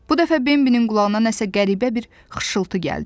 Bu dəfə Bembinin qulağına nəsə qəribə bir xışıltı gəldi.